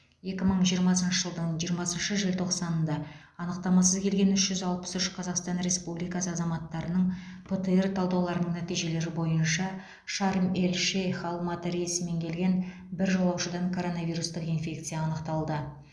екі мың жиырмасыншы жылдың жиырмасыншы желтоқсанында анықтамасыз келген үш жүз алпыс үш қазақстан республикасы азаматтарының птр талдауларының нәтижелері бойынша шарм эль шейх алматы рейсімен келген бір жолаушыдан коронавирустық инфекция анықталды